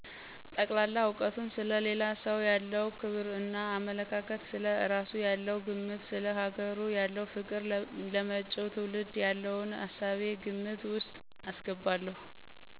ጠቅላላ እውቀቱን፣ ሰለ ሌላ ሰው ያለው ክብር እና አመለካከት፣ ስለ እራሱ ያለው ግምት፣ ሰለ ሀገሩ ያለው ፍቅር፣ ለመጭው ትውልድ የለውን እሳቤ ግምት ወስጥ አስገባለሁ።